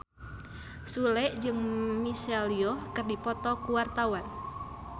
Sule jeung Michelle Yeoh keur dipoto ku wartawan